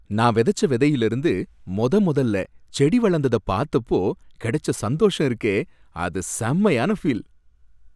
நா விதச்ச விதையில இருந்து மொதமொதல செடி வளந்தத பாத்தப்போ கிடைச்ச சந்தோஷம் இருக்கே அது செமயான ஃபீல்